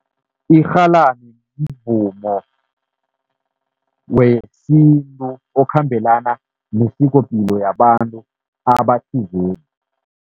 Irhalani mvumo wesintu okhambelana nesikopilo yabantu abathizeni.